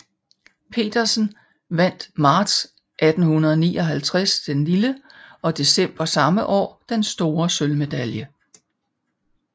Petersen vandt marts 1859 den lille og december samme år den store sølvmedalje